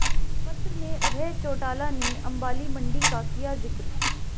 पत्र में अभय चौटाला ने अंबाला मंडी का किया जिक्र